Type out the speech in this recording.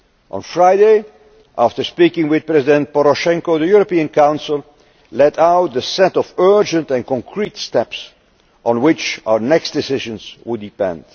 On Friday, after speaking with President Poroshenko, the European Council laid out a set of urgent and concrete steps on which our next decisions would